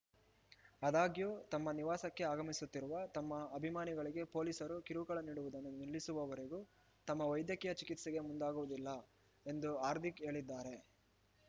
ಆದಾಗ್ಯೂ ತಮ್ಮ ನಿವಾಸಕ್ಕೆ ಆಗಮಿಸುತ್ತಿರುವ ತಮ್ಮ ಅಭಿಮಾನಿಗಳಿಗೆ ಪೊಲೀಸರು ಕಿರುಕುಳ ನೀಡುವುದನ್ನು ನಿಲ್ಲಿಸುವವರೆಗೂ ತಮ್ಮ ವೈದ್ಯಕೀಯ ಚಿಕಿತ್ಸೆಗೆ ಮುಂದಾಗುವುದಿಲ್ಲ ಎಂದು ಹಾರ್ದಿಕ್‌ ಹೇಳಿದ್ದಾರೆ